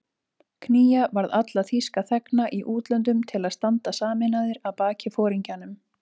Knýja varð alla þýska þegna í útlöndum til að standa sameinaðir að baki foringjanum